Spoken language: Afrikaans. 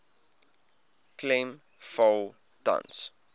klem val tans